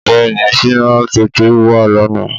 Bẹ́ẹ̀ni Shina pétérù wá lànà